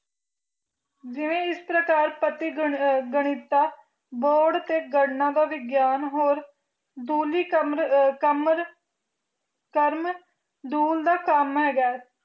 ਜਿਵੇ ਇਸ ਪ੍ਰਕਾਰ ਪਤੀ ਗਣਿਤ ਦਾ ਬੋਹੜ ਤੇ ਗਣਨਾ ਦਾ ਗਿਆਨ ਹੋਰ ਦੂਲੀ ਕਮਰ ਕਰਮ ਦੂਲ ਦਾ ਕੰਮ ਹੈਗਾ